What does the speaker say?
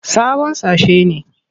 Sabon sashe ne.